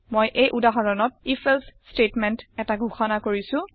মই এই উদাহৰণত if এলছে ষ্টেটমেণ্ট এটা ঘোষণা কৰিছো